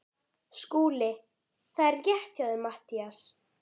SKÚLI: Það er rétt hjá þér Matthías.